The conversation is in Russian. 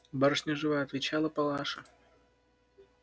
барышня жива отвечала палаша